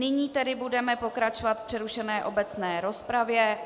Nyní tedy budeme pokračovat v přerušené obecné rozpravě.